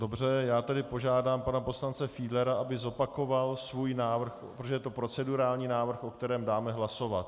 Dobře, já tedy požádám pana poslance Fiedlera, aby zopakoval svůj návrh, protože to je procedurální návrh, o kterém dáme hlasovat.